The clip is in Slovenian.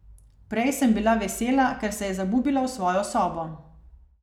Prej sem bila vesela, ker se je zabubila v svojo sobo.